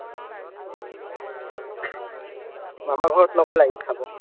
মামা ঘৰত নগ'লা ইদ খাব?